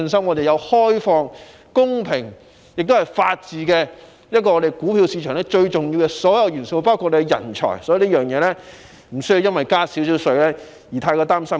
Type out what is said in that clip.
我們有開放、公平的制度，亦具備法治及人才，這些都是股票市場最重要的元素，所以無需因稍為加稅而過於擔心。